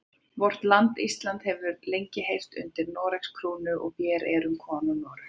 Vort land Ísland hefur lengi heyrt undir Noregs krúnu og vér erum konungur Noregs.